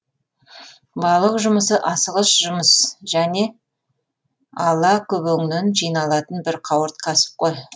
балық жұмысы асығыс жұмыс және ала көбеңнен жиналатын бір қауырт кәсіп қой